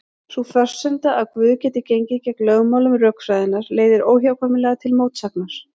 Sú forsenda að Guð geti gengið gegn lögmálum rökfræðinnar leiðir óhjákvæmilega til mótsagnar.